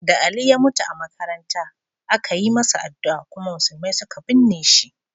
Da Ali ya mutu a makaranta, aka yi masa addu'a kuma musulmai suka binne shi.